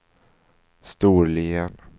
Storlien